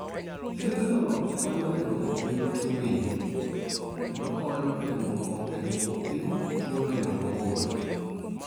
Thiethno konyo e duoko piny tuo winjo, kendo konyo e duoko e duoko piny tuo neno mabor.